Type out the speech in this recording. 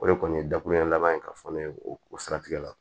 O de kɔni ye dakuruya laban ye ka fɔ ne ye o siratigɛ la